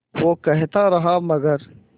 वो कहता रहा मगर